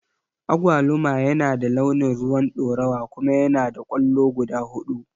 Agwaluma yana da launin rowan ɗorawa kuma yanada kwallo guda huɗu.